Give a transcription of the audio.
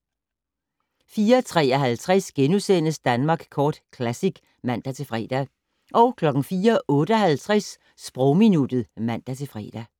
04:53: Danmark Kort Classic *(man-fre) 04:58: Sprogminuttet (man-fre)